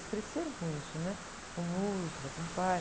Eles cresceram com isso, né? Com música, com o pai.